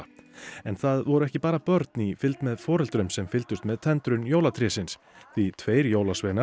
en það voru ekki bara börn í fylgd með foreldrum sem fylgdust með tendrun jólatrésins því tveir jólasveinar